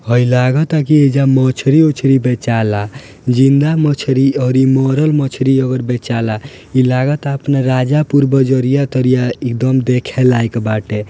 हइ लगाता की एजा मछली उछली बेचाला जिंदा मछली और इ मरल मछली और बेचाला इ लगाता अपना राजापुर बजरिया तरिया एकदम देखे लायक बाटे।